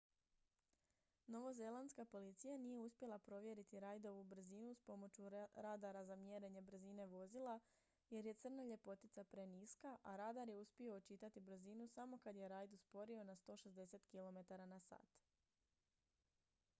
novozelandska policija nije uspjela provjeriti reidovu brzinu s pomoću radara za mjerenje brzine vozila jer je crna ljepotica preniska a radar je uspio očitati brzinu samo kad je reid usporio na 160 km/h